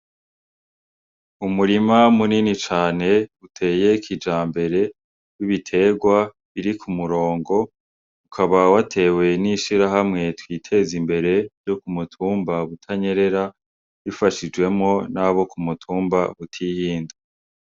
Umurima munini cane uteye kija mbere w'ibiterwa iri ku murongo ukaba w atewe n'ishira hamwe twiteza imbere yo ku mutumba butanyerera bifashijwemo n'abo ku mutumba butihinda.